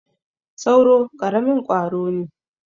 sauro karamin kwaro ne